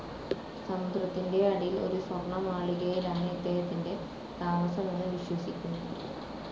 സമുദ്രത്തിൻ്റെ അടിയിൽ ഒരു സ്വർണമാളികയിലാണ് ഇദ്ദേഹത്തിൻ്റെ താമസമെന്ന് വിശ്വസിക്കുന്നു.